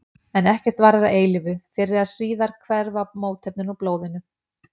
En ekkert varir að eilífu, fyrr eða síðar hverfa mótefnin úr blóðinu.